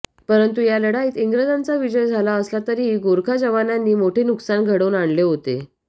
पंरतु या लढाईत इंग्रजांचा विजय झाला असला तरीही गोरखा जवानांनी मोठे नुकसान घडवून आणले होते